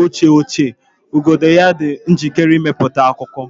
oche ochie, igodo ya dị njikere ịmepụta akụkọ.